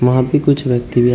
वहां पे कुछ व्यक्ति हैं।